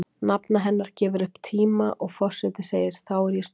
Nafna hennar gefur upp tíma og forseti segir: Þá er ég stokkin